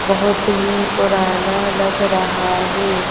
बहोत ही पुराना लग रहा है।